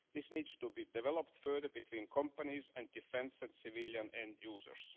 This needs to be developed further between companies and defence and civilian end users.